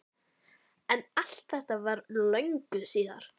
Sveinbjörns Beinteinssonar, Draghálsi milli Svínadals og Skorradals í